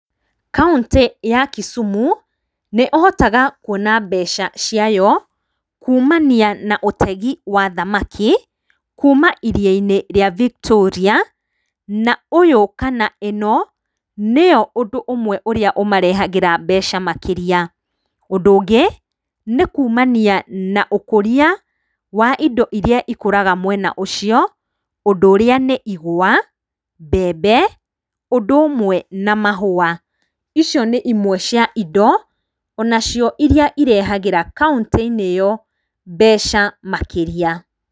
Kauntĩ ya Kisumu nĩ ũhotaga kũona mbeca ciayo kũmania na ũtegĩ wa thamaki kũma ĩrĩa-inĩ rĩa Victoria na ũyũ kana ĩno nĩyo ũndũ ũmwe ũmarehagĩra mbeca makĩrĩa. Ũndũ ũngĩ nĩ kũmania na ũkũrĩa wa indo ĩrĩa ĩkũraga mwena ũcio ũndũ ũrĩa nĩ igwa, mbembe ũndũ ũmwe na mahũa icio nĩ ĩmwe cia indo onacio iria irehagĩra kauntĩ-inĩ ĩyo mbeca makĩrĩa.